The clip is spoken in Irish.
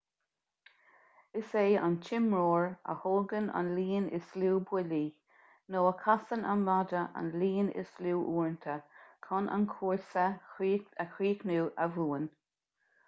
is é an t-imreoir a thógann an líon is lú buillí nó a chasann an maide an líon is lú uaireanta chun an cúrsa a chríochnú a bhuann